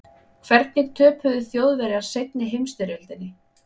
Hvernig töpuðu Þjóðverjar seinni heimsstyrjöldinni?